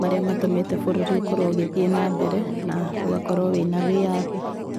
marĩa matũmĩte bũrũri ũkorwo ũgĩthiĩ na mbere, na ũgakorwo wĩna wĩyathi.